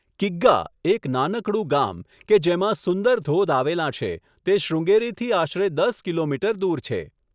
કિગ્ગા, એક નાનકડું ગામ કે જેમાં સુંદર ધોધ આવેલાં છે, તે શ્રૃંગેરીથી આશરે દસ કિલોમીટર દૂર છે.